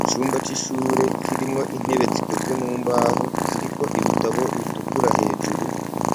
Icumba c'ishure kirimwo intebe zikozwe mu mbaho, ziriko ibitabo bitukura hejuru,